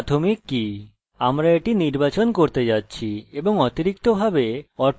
আমরা এটি নির্বাচন করতে যাচ্ছি এবং অতিরিক্ত ভাবে auto underscore increment পেয়েছি